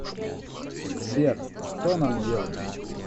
сбер что нам делать